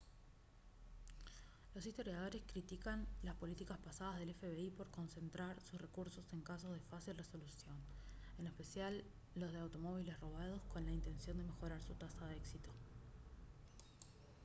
los historiadores critican las políticas pasadas del fbi por concentrar sus recursos en casos de fácil resolución en especial los de automóviles robados con la intención de mejorar su tasa de éxito